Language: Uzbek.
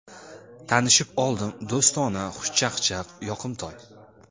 Tanishib oldim, do‘stona, xushchaqchaq, yoqimtoy.